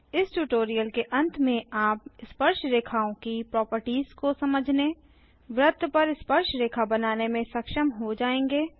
इस ट्यूटोरियल के अंत में आप स्पर्शरेखाओं की प्रोपर्टिज को समझने वृत्त पर स्पर्शरेखा बनाने में सक्षम हो जायेंगे